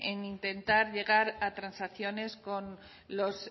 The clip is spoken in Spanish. en intentar llegar a transacciones